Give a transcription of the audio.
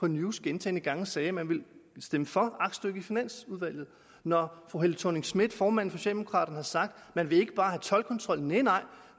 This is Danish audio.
news gentagne gange sagde at man ville stemme for aktstykket i finansudvalget og når fru helle thorning schmidt formanden for socialdemokraterne har sagt at man ikke bare toldkontrol nej